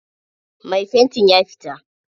Mai fanti ya fita.